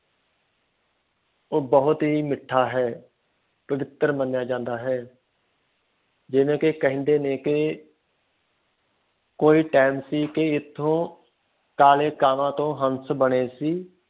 ਉਹ ਬਹੁਤ ਹੀ ਮੀਠਾ ਹੈ ਪਵਿੱਤਰ ਮੰਨਿਆ ਜਾਂਦਾ ਹੈ ਜਿਵੇ ਕਿ ਕੇਹਂਦੇਨੇ ਕੀ ਕੋਈ time ਸੀ ਕਿ ਇਸ ਤੋਂ ਕਾਲੇ ਕਾਵਾਂ ਤੋਂ ਹੰਸ ਬਣੇ ਸੀ